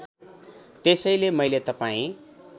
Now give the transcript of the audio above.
त्यसैले मैले तपाईँ